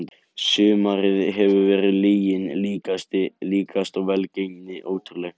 Sumarið hefur verið lyginni líkast og velgengnin ótrúleg.